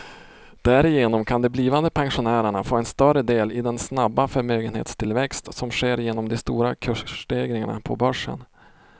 Därigenom kan de blivande pensionärerna få en större del i den snabba förmögenhetstillväxt som sker genom de stora kursstegringarna på börsen.